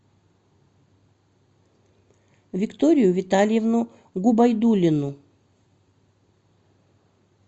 викторию витальевну губайдуллину